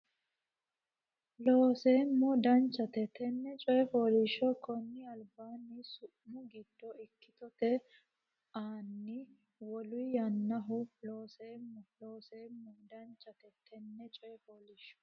Looseemmo Danchate tenne coy fooliishsho konni albaanni su mu giddo ikkitote anni waaliyu yaannoho Looseemmo Looseemmo Danchate tenne coy fooliishsho.